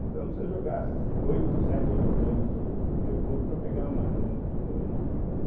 Então não precisa jogar oito, sete, oito gramas de o de mercúrio para pegar uma grama de ouro, né.